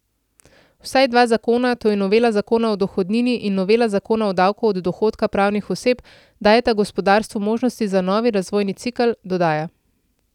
Vsaj dva zakona, to je novela zakona o dohodnini in novela zakona o davku od dohodka pravnih oseb, dajeta gospodarstvu možnosti za novi razvojni cikel, dodaja.